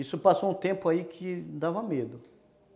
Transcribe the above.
Isso passou um tempo aí que dava medo.